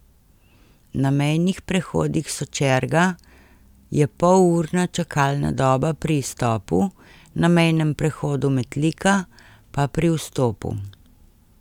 Na mejnih prehodih Sočerga je polurna čakalna doba pri izstopu, na mejnem prehodu Metlika pa pri vstopu.